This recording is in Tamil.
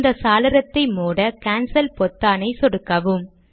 இந்த சாளரத்தை மூட கான்சல் பொத்தானை சொடுக்கவும்